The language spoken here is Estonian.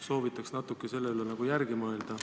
Soovitaks natuke selle üle järele mõelda.